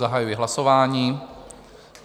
Zahajuji hlasování.